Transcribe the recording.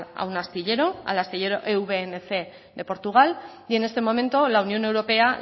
a un astillero al astillero de portugal y en este momento la unión europea